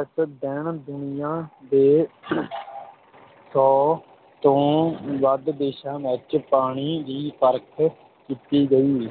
ਇਸ ਦਿਨ ਦੁਨੀਆ ਦੇ ਸੌ ਤੋਂ ਵੱਧ ਦੇਸ਼ਾਂ ਵਿੱਚ ਪਾਣੀ ਦੀ ਪਰਖ ਕੀਤੀ ਗਈ